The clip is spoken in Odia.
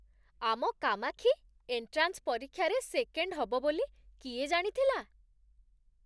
ଆମ କାମାକ୍ଷୀ ଏଣ୍ଟ୍ରାନ୍ସ ପରୀକ୍ଷାରେ ସେକେଣ୍ଡ ହବ ବୋଲି କିଏ ଜାଣିଥିଲା?